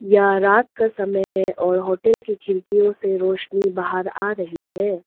यह रात का समय है और होटल की खिड़कियों से रोशनी बाहर आ रही है।